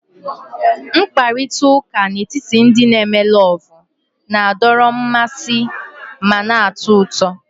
Mkparịta ụka n'etiti ndị n'eme lovu na-adọrọ mmasị ma na-atọ ụtọ